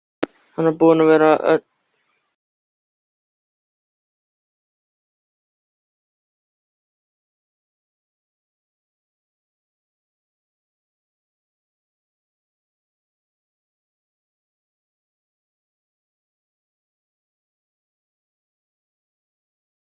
Eirný, hvað geturðu sagt mér um veðrið?